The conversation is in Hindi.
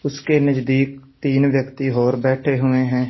उसके नजदीक तीन व्यक्ति और बैठे हुए हैं।